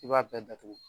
I b'a bɛɛ datugu